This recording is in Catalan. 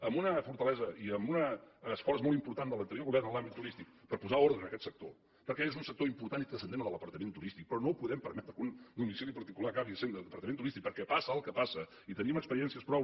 amb una fortalesa i amb un esforç molt important de l’anterior govern en l’àmbit turístic per posar ordre en aquest sector perquè és un sector important i transcendent el de l’apartament turístic però no podem permetre que un domicili particular acabi sent apartament turístic perquè passa el que passa i tenim experiències prou